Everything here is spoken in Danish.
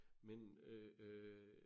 Men øh øh